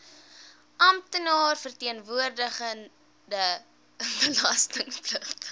amptenaar verteenwoordigende belastingpligtige